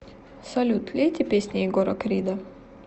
салют лейте песни егора крида